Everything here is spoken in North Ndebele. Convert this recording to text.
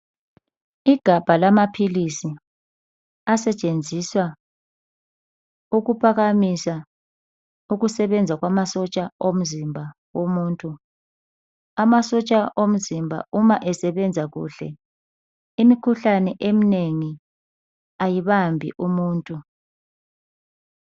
Igabha lamaphilisi asetshenziswa ukuphakamisa ukusebenza kwamasotsha omzimba womuntu amasotsha omzimba uma esebenza kakuhle imikhuhlane eminengi ayibambi umuntu